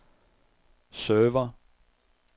server